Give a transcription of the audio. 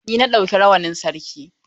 Ni na ɗauki rawanin Sarki.